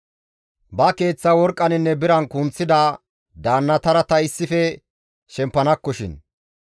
Ba keeththa worqqaninne biran kunththida; daannatara ta issife shempanakkoshin.